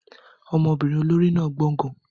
Ọmọbìnrin olórí náà gbọ́n gan-an.